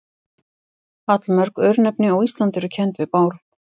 Allmörg örnefni á Íslandi eru kennd við Bárð.